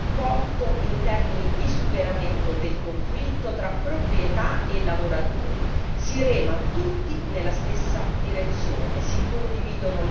Fondamentale l'apporto in termini di superamento del conflitto tra proprietà e lavoratori si rema tutti nella stessa direzione